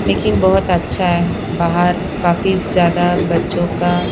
लेकिन बहुत अच्छा हैबाहर काफी ज्यादा बच्चों का--